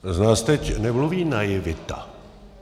Z vás teď nemluví naivita.